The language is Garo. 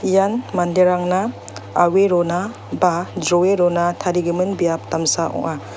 ian manderangna au·e rona ba jroe rona tarigimin biap damsa ong·a.